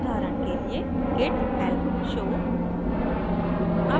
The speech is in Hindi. उदाहरण के लिए: git help show